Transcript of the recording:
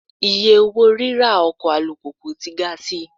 Iye owó ríra ọkọ̀ alùpùpù tí ga sí i.